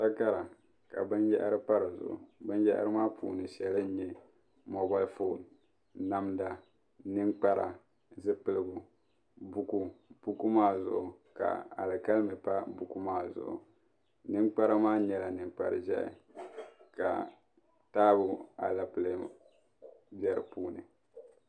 Takara ka binyaɣari pa di zuɣu binyara maa shɛli nye namda ninkpara zipiligu buku buku maa zuɣu ka alikalimi pa buku maa zuɣu ninkpara maa nyela ninkpari ʒehi ka taabo alɛpeli be di puuni.